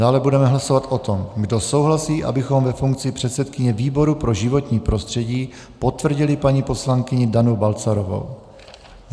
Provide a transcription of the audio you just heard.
Dále budeme hlasovat o tom, kdo souhlasí, abychom ve funkci předsedkyně výboru pro životní prostředí potvrdili paní poslankyni Danu Balcarovou.